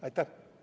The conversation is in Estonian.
Aitäh!